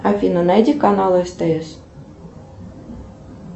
афина найди канал стс